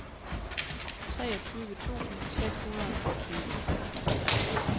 treogtyve tusind seks hundrede og tyve